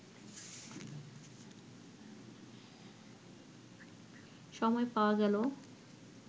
সময় পাওয়া গেল